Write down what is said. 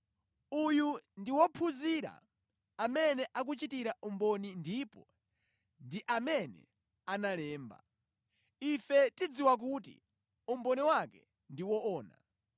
Uyu ndi wophunzira amene akuchitira umboni ndipo ndi amene analemba. Ife tidziwa kuti umboni wake ndi woona.